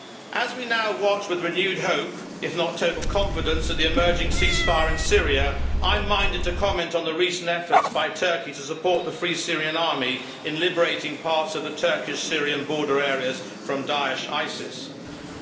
As we now watch with renewed hope if not total confidence in the emerging ceasefire in Syria, I am minded to comment on the recent efforts by Turkey to support the Free Syrian Army in liberating parts of the Turkish Syrian border areas from ISIS Daesh.